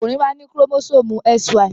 Ọkùnrin máa ń ní kórómósómù XY.